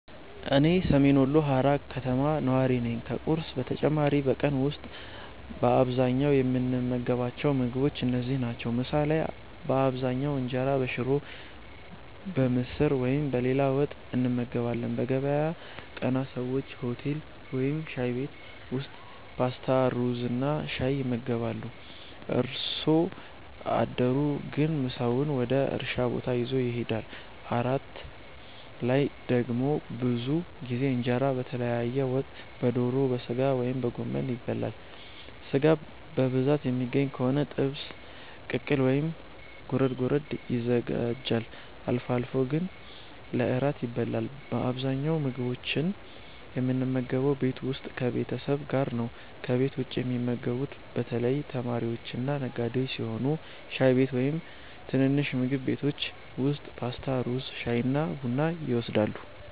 እኔ ሰሜን ወሎ ሃራ ከተማ ነዋሪ ነኝ። ከቁርስ በተጨማሪ በቀን ውስጥ በአብዛኛው የምንመገባቸው ምግቦች እነዚህ ናቸው፦ ምሳ ላይ በአብዛኛው እንጀራ በሽሮ፣ በምስር ወይም በሌላ ወጥ እንመገባለን። በገበያ ቀናት ሰዎች ሆቴል ወይም ሻይ ቤት ውስጥ ፓስታ፣ ሩዝና ሻይ ይመገባሉ። አርሶ አደሩ ግን ምሳውን ወደ እርሻ ቦታ ይዞ ይሄዳል። እራት ላይ ደግሞ ብዙ ጊዜ እንጀራ በተለያየ ወጥ (በዶሮ፣ በሥጋ ወይም በጎመን) ይበላል። ሥጋ በብዛት የሚገኝ ከሆነ ጥብስ፣ ቅቅል ወይም ጎረድ ጎረድ ይዘጋጃል። አልፎ አልፎ ገንፎ ለእራት ይበላል። በአብዛኛው ምግቦችን የምንመገበው ቤት ውስጥ ከቤተሰብ ጋር ነው። ከቤት ውጭ የሚመገቡት በተለይ ተማሪዎችና ነጋዴዎች ሲሆኑ ሻይ ቤት ወይም ትንንሽ ምግብ ቤቶች ውስጥ ፓስታ፣ ሩዝ፣ ሻይና ቡና ይወስዳሉ።